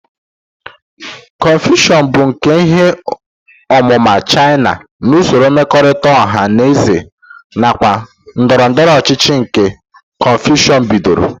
Kọnfushịọs bụ nkà ihe ọmụma China na usoro mmekọrịta ọha na eze nakwa ndọrọ ndọrọ ọchịchị nke Kọnfushịọs bidoro.